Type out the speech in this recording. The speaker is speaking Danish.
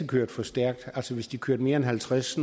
kører for stærkt hvis de kører mere end halvtreds